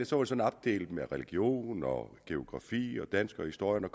sådan opdelt i religion og geografi og dansk og historie når